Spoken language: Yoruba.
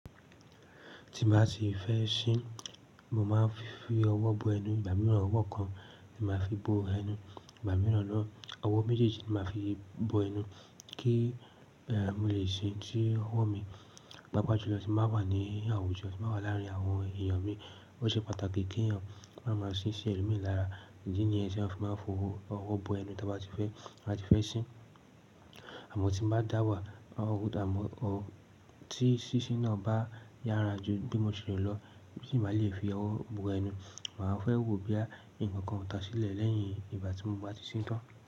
Tín bá tifẹ́ sín mo man fi ọwọ́ bo ẹnu ìgbà mìràn ọwọ́ kan ni máa fi bo ẹnu ìgbà mìràn ná ọwọ́ méjèjì máa fi bo ẹnu kí er mólè sín kí ọwọ́ mi pàápà ju lọ́ tí mo bá wà ní àwùjọ, tí mo bá wà láàrin àwọn èèyàn mi. Ó ṣe pàtàkì kí èèyàn máa máa ṣin sí ẹlo mi lára. Idi nìyẹn tí mo fi máa ń fowó bo ẹnu tí a bá ti fẹ́, tí a bá ti fẹ́ ṣín. Àmọ́ tí n bá dáwà, àmọ́ tí sísí náà bá yára ju bí mo ṣe rò lọ, bí n bá lè fi owó bo ẹnu, màá fẹ́ wo bóyá ǹkan kan o ta sílẹ̀ lẹ́yìn ìgbà tí mo bá ti ṣín tán.